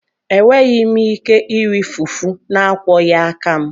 Enweghị m ike iri fufu na-akwọghị aka m.